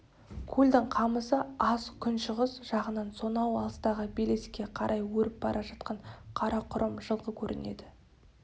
көлдің қамысы аз күншығыс жағынан сонау алыстағы белеске қарай өріп бара жатқан қарақұрым жылқы көрінеді